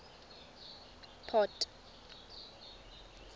port